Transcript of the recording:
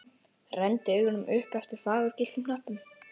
Renndi augunum upp eftir fagurgylltum hnöppum.